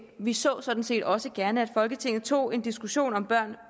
vi så sådan set også gerne at folketinget tog en diskussion om børn